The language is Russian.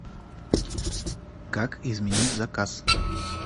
как изменить заказ